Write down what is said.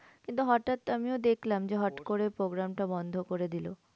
কিন্তু হটাৎ আমিও দেখলাম যে হট করে program টা বন্ধ করে দিলো।